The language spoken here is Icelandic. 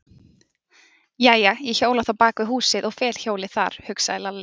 Jæja, ég hjóla þá bak við húsið og fel hjólið þar, hugsaði Lalli.